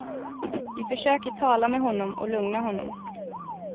Vi försöker tala med honom och lugna honom.